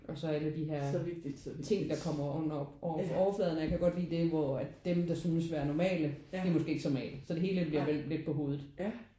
Og så alle de her ting der kommer oven op over overfladen og jeg kan godt lide det hvor at dem der synes at være normale de er måske ikke så normale. Så det hele bliver vendt sådan lidt på hovedet